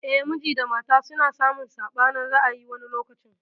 Eh, miji da mafa suna samun saɓanin ra'ayi wani lokacin.